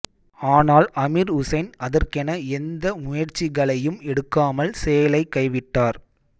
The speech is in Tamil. ஆனால் அமீர் உசைன் அதற்கென எந்த முயற்சிகளையும் எடுக்காமல் செயலைக் கைவிட்டார்